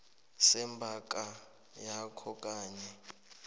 sebhanka yakho kanye